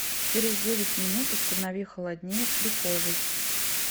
через девять минут установи холоднее в прихожей